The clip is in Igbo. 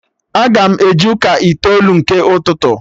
Aga m eje ụka itoolu nke ụtụtụ